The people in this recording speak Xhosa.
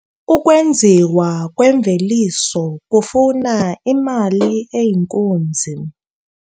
Ukwenziwa kwemveliso kufuna imali eyinkunzi.